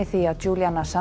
því að